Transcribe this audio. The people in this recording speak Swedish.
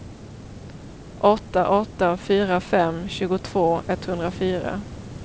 åtta åtta fyra fem tjugotvå etthundrafyra